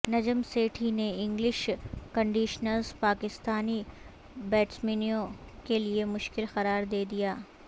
نجم سیٹھی نے English conditions Pakistani بیٹسمینوں کیلیے مشکل قرار دیدیا